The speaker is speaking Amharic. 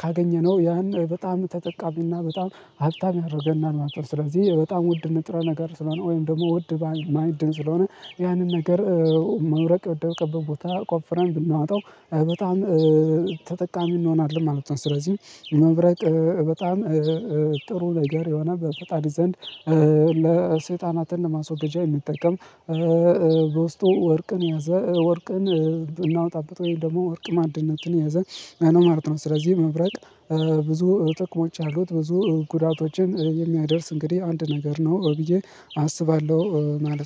ካገኘነው ያን በጣም ተጠቃሚና በጣም ሀብታም ያደርገናል ማለት ነው። ስለዚህ በጣም ውድ ንጥረ ነገር ስለሆነ ወይም ደግሞ ውድ ማዕድን ስለሆነ ያንን ነገር መብረቅ ወደቀበት ቦታ ቆፍረን ብናወጣው በጣም ተጠቃሚ እንሆናለን ማለት ነው። ስለዚህ መብረቅ በጣም ጥሩ ነገር የሆነ በፈጣሪ ዘንድ ለሰይጣናትን ለማስወገጃ የሚጠቀም በውስጡ ወርቅን ያዘ ወርቅን ብናወጣበት ወይም ደግሞ ወርቅ ማዕድኖችን ያዘን ማለት ነው። ስለዚህ መብረቅ ብዙ ጥቅሞች ያሉት ብዙ ጉዳቶችን የሚያደርስ እንግዲህ አንድ ነገር ነው ብዬ አስባለሁ ማለት ነው